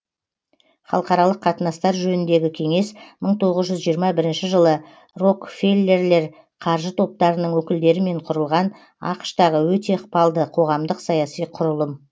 халықаралық қатынастар жөніндегі кеңес мың тоғыз жүз жиырма бірінші жылы рокфеллерлер қаржы топтарының өкілдерімен құрылған ақш тағы өте ықпалды қоғамдық саяси құрылым